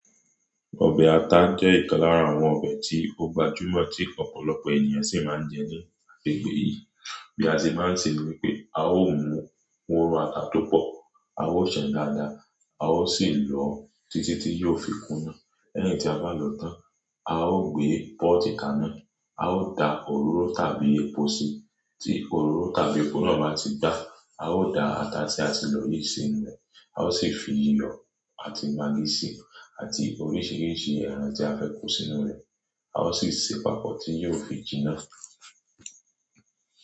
Ọbẹ̀ ata jẹ́ ìkan lára àwọn ọbẹ̀ tí ó gbajúmọ̀ tí ọ̀pọ̀lọpọ̀ ènìyàn sì máa ń jẹ ní àgbègbè yìí. Bí a ṣe máa ń ṣe ni wí pé a ó mu óró ata tó pọ̀, a ó ṣan dáadáa, a ó sì lọ títí tí yóò fi kúnà. Lẹ́yìn tí a bá lọ tán, a ó gbé pot kaná, a ó da òróró tàbí epo sí i. Tí òróró tàbí epo náà bá ti gbá a ó da ata tí a ti lọ yìí sí inú rẹ̀. A ó sì fi iyọ̀ àti maggi sí i, àti oríṣiríṣi ẹ̀ràn tí a fẹ́ kó sínú rẹ̀. A ó sì ṣe papọ̀ tí yóò fi jiná.